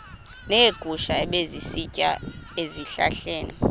neegusha ebezisitya ezihlahleni